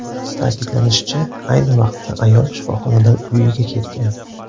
Ta’kidlanishicha, ayni vaqtda ayol shifoxonadan uyiga ketgan.